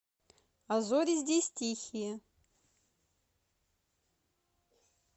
а зори здесь тихие